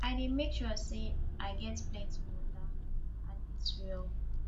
i dey make sure say i get plenty water and eat well